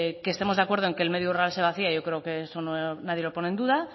que estemos de acuerdo en que el medio rural se vacía yo creo que eso nadie lo pone en duda